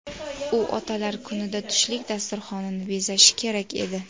U Otalar kunida tushlik dasturxonini bezashi kerak edi.